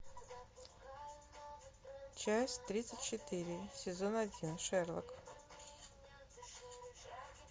часть тридцать четыре сезон один шерлок